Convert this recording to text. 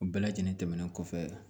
U bɛɛ lajɛlen tɛmɛnen kɔfɛ